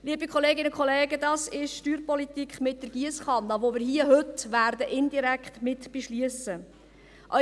Liebe Kolleginnen und Kollegen, das ist Steuerpolitik mit der Giesskanne, die wir hier heute indirekt mit beschliessen werden.